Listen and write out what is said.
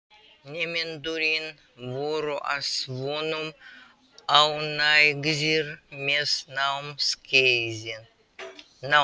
Nemendurnir voru að vonum ánægðir með námskeiðin.